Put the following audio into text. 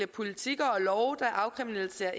politikker og love der afkriminaliserer